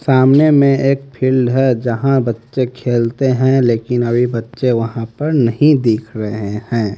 सामने में एक फील्ड है जहां बच्चे खेलते हैं लेकिन अभी बच्चे वहां पर नहीं दिख रहे हैं।